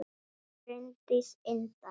Bryndís Inda